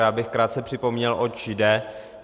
Já bych krátce připomněl, oč jde.